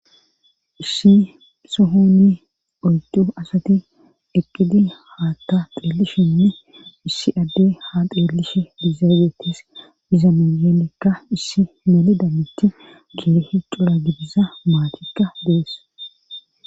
Issi sohonni oydu asati eqqidi haatta xeellishinne issi adde ha xeelishe dizaageetes iza minyenikka issi melidammitti keehi cura gidiza maatikka dees.